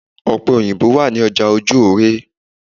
Ọ̀pẹ̀ òyìnbo wà ní ọjà Ojú-òóré.